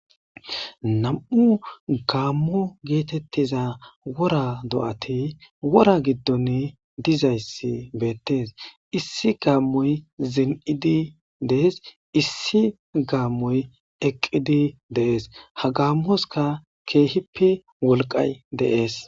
Nam'u gaammo geetettiza wora do'ati wora giddon dizayssi beettes issi gaammoy zin'idi dees issi gaammoy eqqidi deees ha gaammoska keehippi wolqay deees.